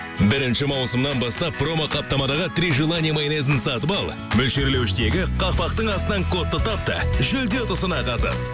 бірінші маусымнан бастап промоқаптамадағы три желание майонезін сатып ал мөлшерлеуіштегі қақпақтың астынан кодты тап та жүлде ұтысына қатыс